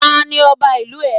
Ta ni Ọba ìlú rẹ?